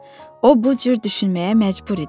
O bu cür düşünməyə məcbur idi.